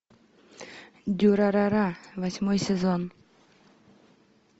дюрарара восьмой сезон